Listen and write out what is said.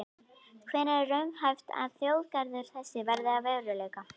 Hvenær er raunhæft að þjóðgarður þessi verði að veruleika?